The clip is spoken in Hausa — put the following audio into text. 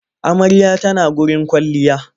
Amarya ta na gurin kwailliya.